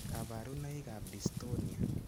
Kaparunoik ap dystonia